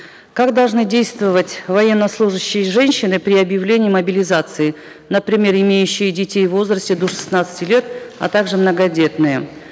как должны действовать военнослужащие женщины при объявлении мобилизации например имеющие детей в возрасте до шестнадцати лет а также многодетные